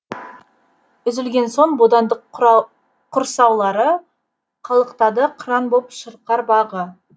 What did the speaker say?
үзілген сон бодандық құрсаулары қалықтады қыран боп шырқар бағы